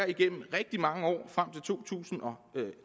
igennem rigtig mange år frem til to tusind og